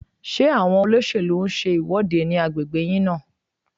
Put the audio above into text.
Ṣé àwọn olóṣèlú ń ṣe ìwọ́de ní agbègbè yín náà?